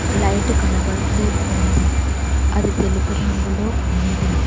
Light కనబడుతూ ఉంది అది తెలుపు రంగులో ఉంది.